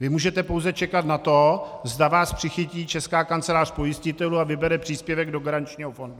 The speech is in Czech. Vy můžete pouze čekat na to, zda vás přichytí Česká kancelář pojistitelů a vybere příspěvek do garančního fondu.